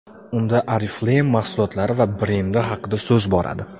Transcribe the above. Unda Oriflame mahsulotlari va brendi haqida so‘z boradi.